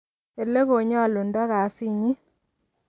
Ile konyolundo kasinyin.